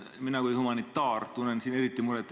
Mina kui humanitaar tunnen selle pärast eriti muret.